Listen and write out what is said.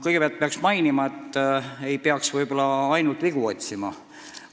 " Kõigepealt ma mainin, et ei peaks ainult vigu otsima.